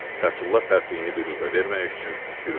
Fətulla pərtliyini büruzə verməyək üçün gülümsədi.